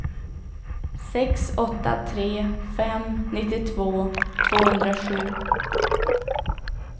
sex åtta tre fem nittiotvå tvåhundrasju